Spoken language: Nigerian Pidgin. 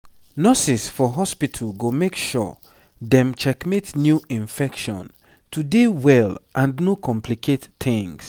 nurses for hospitu go make sure dem checkmate new infection to dey well and no complicate tings